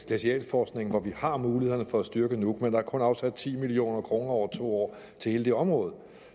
glacialforskning hvor vi har mulighederne for at styrke nuuk men der er kun afsat ti million kroner over to år til hele det område